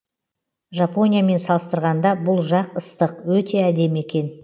жапониямен салыстырғанда бұл жақ ыстық өте әдемі екен